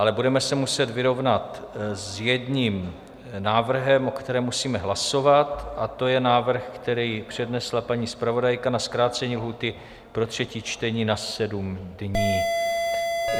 Ale budeme se muset vyrovnat s jedním návrhem, o kterém musíme hlasovat, a to je návrh, který přednesla paní zpravodajka na zkrácení lhůty pro třetí čtení na sedm dnů.